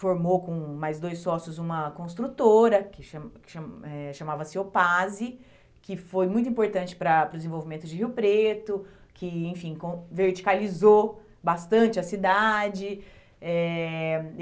formou com mais dois sócios uma construtora que cham que cham eh chamava-se Opase, que foi muito importante para para o desenvolvimento de Rio Preto, que, enfim, com verticalizou bastante a cidade eh.